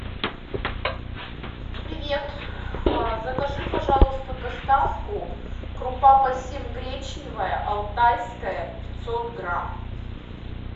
привет закажи пожалуйста доставку крупа пассим гречневая алтайская пятьсот грамм